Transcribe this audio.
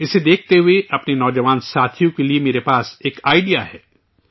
اسے دیکھتے ہوئے اپنے نوجوان ساتھیوں کے لیے میرے پاس ایک آئڈیا ہے